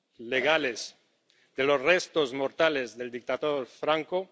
legales, de los restos mortales del dictador Franco.